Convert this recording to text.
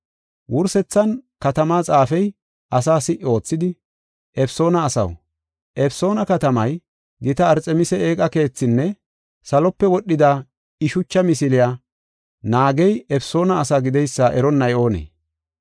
Wursethan, katamaa xaafey asaa si77i oothidi, “Efesoona asaw, Efesoona katamay gita Arxemisi eeqa keethinne salope wodhida I shucha misiliya naagey Efesoona asaa gideysa eronnay oonee?